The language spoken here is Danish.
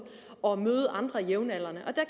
at møde andre jævnaldrende